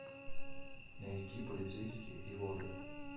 найти полицейские и воры